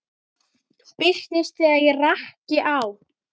Birtist þegar rakt er á.